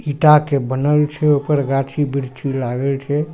ईटा के बनल छै ओय पर गाछी वृक्षी लागल छै।